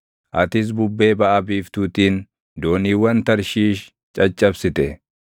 Atis bubbee baʼa biiftuutiin dooniiwwan Tarshiish caccabsite.